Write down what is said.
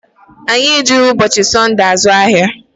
Anyị ejighị ụbọchị Sọnde azụ ahịa.